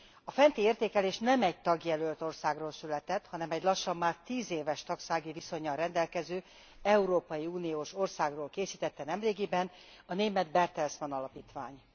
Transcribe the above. A fenti értékelés nem egy tagjelölt országról született, hanem egy lassan már 10 éves tagsági viszonnyal rendelkező európai uniós országról készítette nemrégiben a német Bertelsmann Alapítvány.